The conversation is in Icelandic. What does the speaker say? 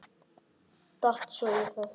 Datt svo í það.